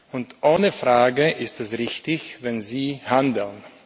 Und ohne Frage ist es richtig, wenn Sie handeln.